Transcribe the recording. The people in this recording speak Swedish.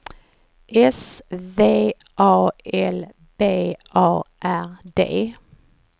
S V A L B A R D